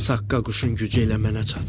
Saqqa quşun gücü elə mənə çatsın.